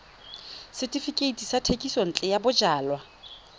setefikeiti sa thekisontle ya bojalwa